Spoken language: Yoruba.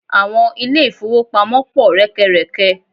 Àwọn ilé-ìfówopamọ́ pọ̀ rẹ́kẹrẹ̀kẹ.